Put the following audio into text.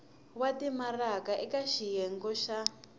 wa timaraka eka xiyenge xa